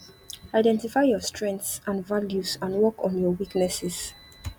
identify your strenghts and values and and work on your weaknesses